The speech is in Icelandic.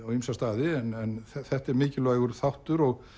á ýmsa staði en þetta er mikilvægur þáttur og